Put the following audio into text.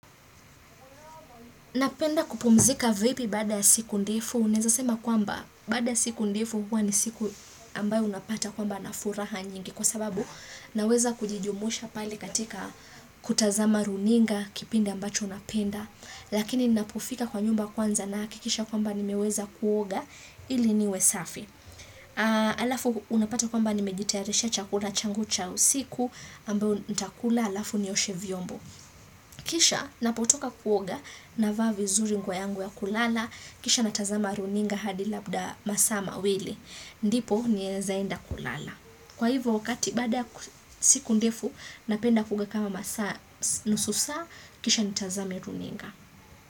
Napenda kupumuzika vipi?, baada siku ndefu?. Naeza sema kwamba, baada ya siku ndefu. Huwa ni siku ambayo unapata kwamba na furaha nyingi, kwa sababu naweza kujijumusha pale katika kutazama runinga. Kipindi ambacho napenda. Lakini ninapofika kwa nyumba kwanza. Nahakikisha kwamba, nimeweza kuoga ili niwe safi. Aa Halafu unapata kwamba, nimejitayarishia chakula changu cha usiku. Ambayo nitakula halafu nioshe vyombo. Kisha, ninapotoka kuoga navaa vinzuri nguo yangu ya kulala. Kisha natazama runinga hadi labda masaa mawili. Ndipo, niezaenda kulala. Kwa hivyo wakati baada ku siku ndefu, napenda kuoga kama masaa si nusu saa. Kisha nitazame runinga.